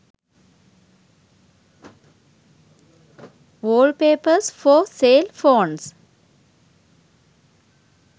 wallpapers for cell phones